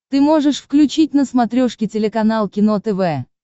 ты можешь включить на смотрешке телеканал кино тв